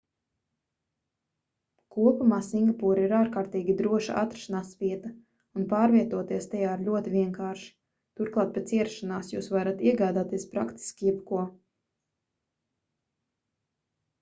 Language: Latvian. kopumā singapūra ir ārkārtīgi droša atrašanās vieta un pārvietoties tajā ir ļoti vienkārši turklāt pēc ierašanās jūs varat iegādāties praktiski jebko